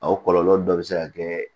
A kɔlɔlɔ dɔ bɛ se ka kɛ